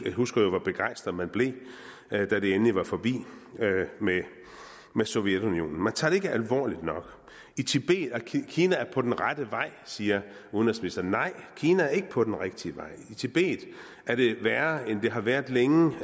jeg husker jo hvor begejstret man blev da det endelig var forbi med sovjetunionen man tager det ikke alvorligt nok kina er på den rette vej siger udenrigsministeren nej kina er ikke på den rigtige vej i tibet er det værre end det har været længe